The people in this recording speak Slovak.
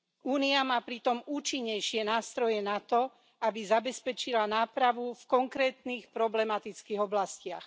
Únia má pritom účinnejšie nástroje na to, aby zabezpečila nápravu v konkrétnych problematických oblastiach.